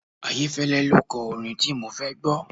Ayéfẹ́lẹ́ lo kọ orin tí mo fẹ́ gbọ́.